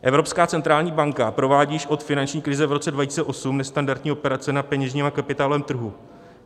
Evropská centrální banka provádí již od finanční krize v roce 2008 nestandardní operace na peněžním a kapitálovém trhu.